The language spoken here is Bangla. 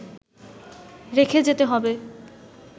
রেখে যেতে হবে